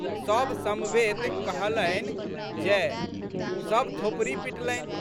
सब समवेत कहलनिजय" सब थोपड़ी पिटलनि।